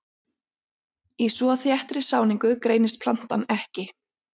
Í svo þéttri sáningu greinist plantan ekki.